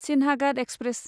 Sinhagad express